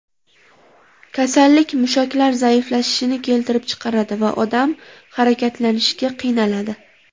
Kasallik mushaklar zaiflashishini keltirib chiqaradi va odam harakatlanishga qiynaladi.